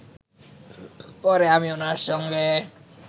পরে আমি ওনার সঙ্গে